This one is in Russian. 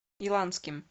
иланским